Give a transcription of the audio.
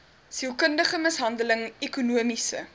sielkundige mishandeling ekonomiese